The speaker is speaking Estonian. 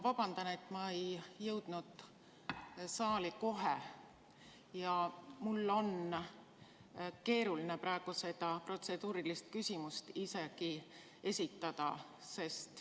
Vabandust, et ma ei jõudnud saali kohe, ja ma pean ütlema, et mul on keeruline praegu seda protseduurilist küsimust isegi esitada.